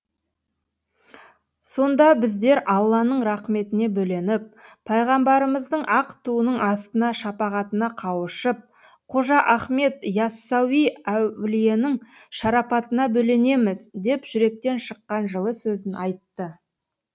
сонда біздер алланың рақметіне бөленіп пайғамбарымыздың ақ туының астына шапағатына қауышып қожа ахмет и ассауи әулиенің шарапатына бөленеміз деп жүректен шыққан жылы сөзін айтты